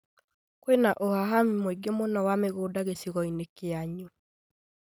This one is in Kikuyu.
Kwĩna ũhahami mũingĩ mũno wa mĩgũnda gĩcigo-inĩ kĩanyu